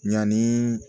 Ɲani